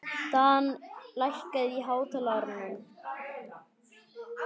Dan, lækkaðu í hátalaranum.